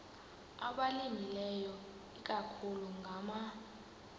abalimileyo ikakhulu ngama